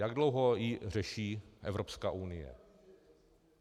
Jak dlouho ji řeší Evropská unie?